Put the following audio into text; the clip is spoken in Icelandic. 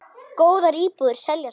Góðar íbúðir seljast fljótt.